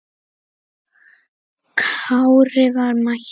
Kári var mættur!